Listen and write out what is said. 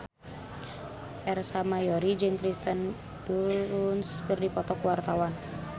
Ersa Mayori jeung Kirsten Dunst keur dipoto ku wartawan